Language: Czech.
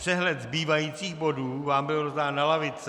Přehled zbývajících bodů vám byl rozdán na lavice.